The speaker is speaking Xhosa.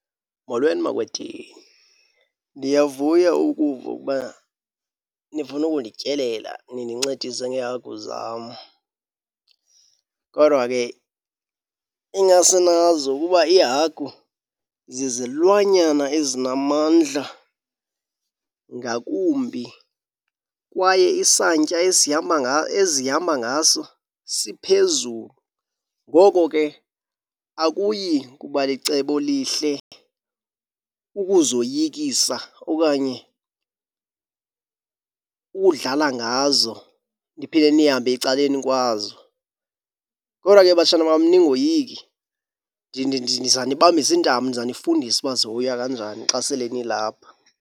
Molweni, makwedini. Ndiyavuya ukuva ukuba nifuna ukundityelela nindincedise ngeehagu zam. Kodwa ke ingase nazi ukuba iihagu zizilwanyana ezinamandla ngakumbi kwaye isantya ezihamba ngaso siphezulu. Ngoko ke akuyi kuba licebo lihle ukuzoyikisa okanye ukudlala ngazo niphinde nihambe ecaleni kwazo. Kodwa ke batshana bam ningoyiki ndizanibambise intambo, ndizanifundisa uba zihoywa kanjani xa sele nilapha.